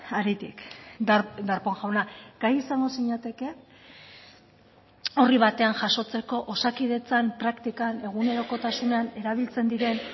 haritik darpón jauna gai izango zinateke horri batean jasotzeko osakidetzan praktikan egunerokotasunean erabiltzen diren